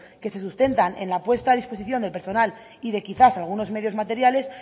que se sustentan en la puesta de disposición de personal y de quizá algunos medios materiales